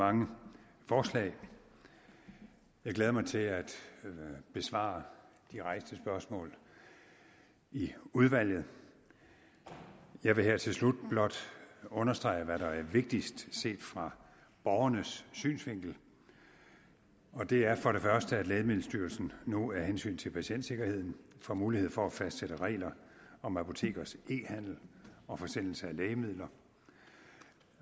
mange forslag jeg glæder mig til at besvare de rejste spørgsmål i udvalget jeg vil her til slut blot understrege hvad der er vigtigst set fra borgernes synsvinkel og det er for det første at lægemiddelstyrelsen nu af hensyn til patientsikkerheden får mulighed for at fastsætte regler om apotekers e handel og forsendelse af lægemidler